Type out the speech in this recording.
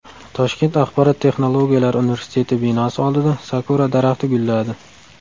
Toshkent axborot texnologiyalari universiteti binosi oldida sakura daraxti gulladi.